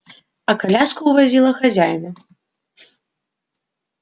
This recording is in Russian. а коляска увозила хозяина